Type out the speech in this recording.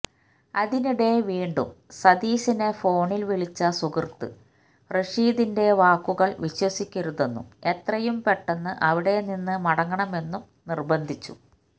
അതിനിടെ വീണ്ടും സതീശനെ ഫോണിൽ വിളിച്ച സുഹൃത്ത് റഷീദിന്റെ വാക്കുകൾ വിശ്വസിക്കരുതെന്നും എത്രയും പെട്ടെന്ന് അവിടെ നിന്ന് മടങ്ങണമെന്നും നിർബന്ധിച്ചു